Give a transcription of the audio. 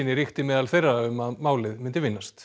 ríkti meðal þeirra um að málið myndi vinnast